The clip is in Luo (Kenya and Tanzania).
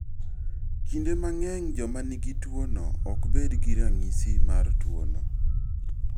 Kinde mang'eny joma nigi tuwono ok bed gi ranyisi mar tuwono.